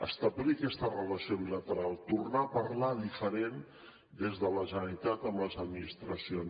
establir aquesta relació bilateral tornar a parlar diferent des de la generalitat amb les administracions